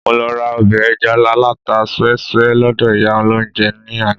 Mo lọ ra ọbẹ̀ ẹja alata súẹ́súẹ́ lọ́dọ̀ ìyá olóunjẹ ní àná